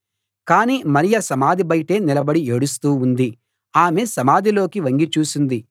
కానీ మరియ సమాధి బయటే నిలబడి ఏడుస్తూ ఉంది ఆమె సమాధిలోకి వంగి చూసింది